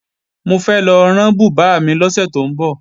Mo fẹ́ lọ rán bùbá mi lọ́sẹ̀ tó ń bọ̀